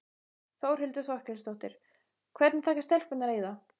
Þórhildur Þorkelsdóttir: Hvernig taka stelpurnar í það?